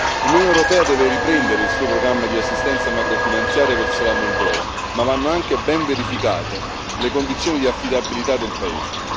L'Unione europea deve riprendere il suo programma di assistenza macrofinanziaria verso la Moldova, ma vanno anche ben verificate le condizioni di affidabilità del paese.